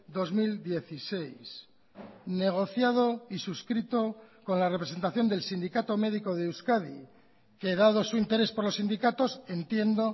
dos mil dieciséis negociado y suscrito con la representación del sindicato médico de euskadi que dado su interés por los sindicatos entiendo